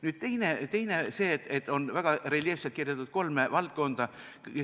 Nüüd teiseks see, et väga reljeefselt on kirjeldatud kolme valdkonda.